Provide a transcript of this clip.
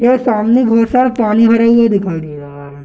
यह सामने बहुत सारा पानी भरा हुआ दिखाई दे रहा है।